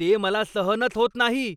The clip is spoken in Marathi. ते मला सहनच होत नाही.